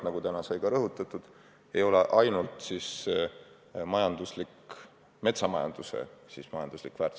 Nagu täna sai rõhutatud: mets ei ole ainult majanduslik väärtus.